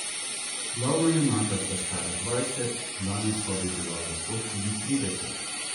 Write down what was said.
Glavna junaka sta stara dvajset, danes pa bi bila lahko tudi trideset.